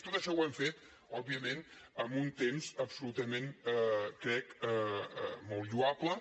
tot això ho hem fet òbviament en un temps absolutament crec molt lloable